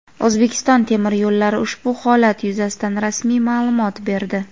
"O‘zbekiston temir yo‘llari" ushbu holat yuzasidan rasmiy ma’lumot berdi.